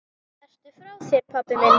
Ertu frá þér, pabbi minn?